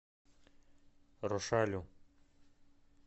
рошалю